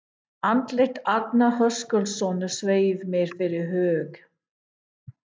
Andlit Arnar Höskuldssonar sveif mér fyrir hug